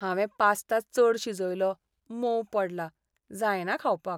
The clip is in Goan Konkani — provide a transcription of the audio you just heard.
हांवें पास्ता चड शिजयलो, मोव पडला, जायना खावपाक.